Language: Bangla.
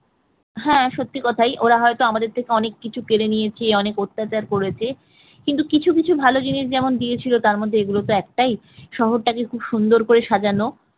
হ্যাঁ সত্যি কথাই ওরা হয়তো আমাদের থেকে অনেক কিছু কেড়ে নিয়েছে অনেক অত্যাচার করেছে কিন্তু কিছু কিছু ভালো জিনিস যেমন দিয়েছিল তার মধ্যে এগুলো তো একটাই শহরটাকে খুব সুন্দর করে সাজানো